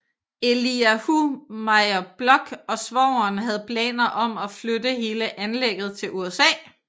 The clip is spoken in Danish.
Eliahu Meir Bloch og svogeren havde planer om at flytte hele anlægget til USA